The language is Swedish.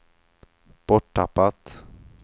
borttappat